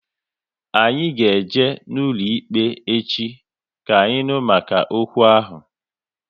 Anyị ga eje n'ụlọikpe echi, ka anyị nụ maka okwu ahụ